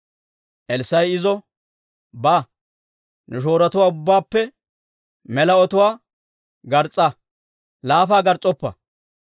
Elssaa'i izo, «Ba; ne shoorotuwaa ubbaappe mela ototuwaa gars's'a. Laafa gars's'oppa.